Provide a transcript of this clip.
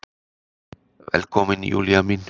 Velkomin Júlía mín.